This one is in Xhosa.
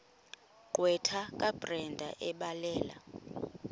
gqwetha kabrenda ebhalela